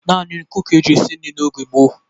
Naanị nkụ ka e ji esi nri n'oge gboo.